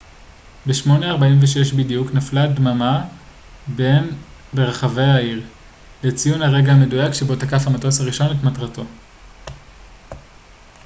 ב-08:46 בדיוק נפלה דממה ברחבי העיר לציון הרגע המדויק שבו תקף המטוס הראשון את מטרתו